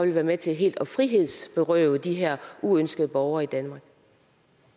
være med til helt at frihedsberøve de her uønskede borger i danmark